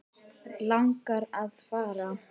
Langar að fara.